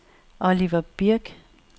Oliver Birk